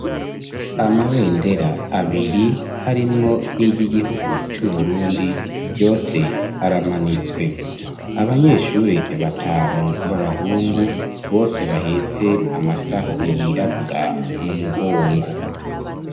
Amabendera abiri harimwo n'ig'igihugu cu Burundi yose aramanitswe .Abanyeshuri batanu b'abahungu, bose bahetse amasaho yirabura mu mugongo.